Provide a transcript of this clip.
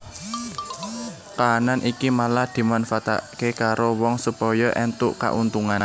Kahanan iki malah dimanfaatake karo wong supaya entuk kauntungan